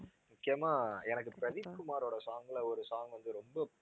முக்கியமா எனக்கு பிரதீப் குமாரோட song ல ஒரு song வந்து ரொம்ப